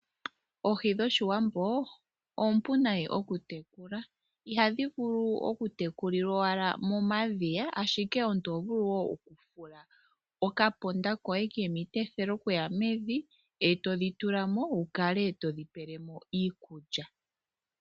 Oohi dhoshiwambo oompu nayi oku tekula. Ihadhi vulu oku tekulilwaala momadhiya. Ashike omuntu oho vulu woo oku fula oka ndama koy mevi. Eto dhi tula mo etodhi tulilemo iikulya.